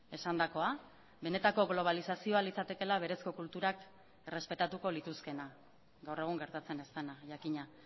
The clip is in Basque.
esandakoa benetako globalizazioa litzatekeela berezko kulturak errespetatuko lituzkeena gaur egun gertatzen ez dena jakina